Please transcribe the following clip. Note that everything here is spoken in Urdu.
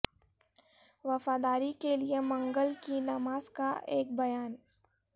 وفاداری کے لئے منگل کی نماز کا ایک بیان